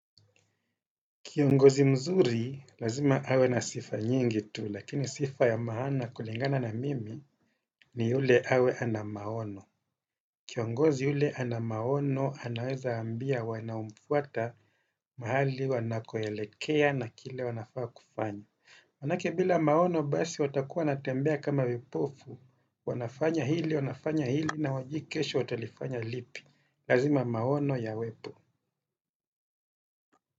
Kiongozi mzuri, lazima awe na sifa nyingi tu, lakini sifa ya maana kulingana na mimi ni yule awe ana maono. Kiongozi yule ana maono, anaweza ambia wanaumfwata mahali wanakoelekea na kile wanafaa kufanya. Manake bila maono basi watakuwa wanatembea kama vipofu, wanafanya hili, wanafanya hili na wajui kesho watalifanya lipi, lazima maono ya wepo.